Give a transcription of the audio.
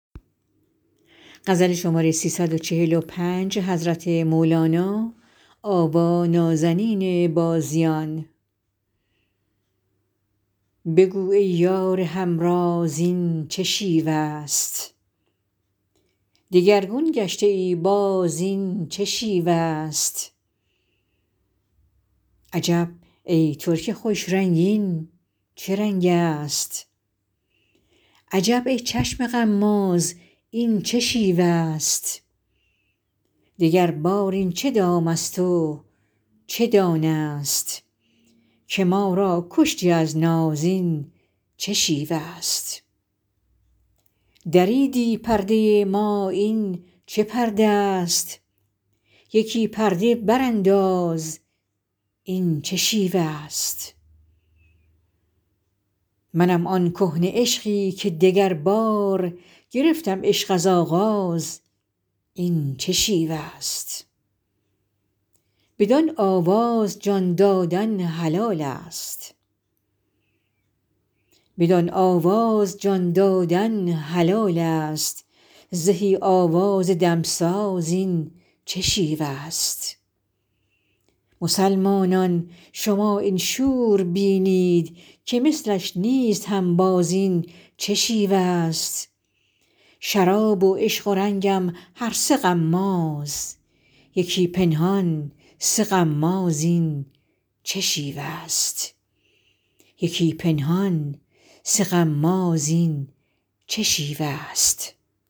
بگو ای یار همراز این چه شیوه ست دگرگون گشته ای باز این چه شیوه ست عجب ترک خوش رنگ این چه رنگست عجب ای چشم غماز این چه شیوه ست دگربار این چه دامست و چه دانه ست که ما را کشتی از ناز این چه شیوه ست دریدی پرده ما این چه پرده ست یکی پرده برانداز این چه شیوه ست منم آن کهنه عشقی که دگربار گرفتم عشق از آغاز این چه شیوه ست بدان آواز جان دادن حلالست زهی آواز دمساز این چه شیوه ست مسلمانان شما این شور بینید که مثلش نیست هنباز این چه شیوه ست شراب و عشق و رنگم هر سه غماز یکی پنهان سه غماز این چه شیوه ست